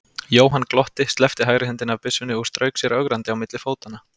Jóhann glotti, sleppti hægri hendinni af byssunni og strauk sér ögrandi á milli fótanna.